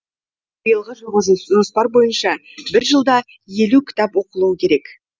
биылғы жылғы жоспар бойынша бір жылда елу кітап оқылуы керек